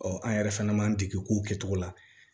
an yɛrɛ fana b'an dege kow kɛcogo la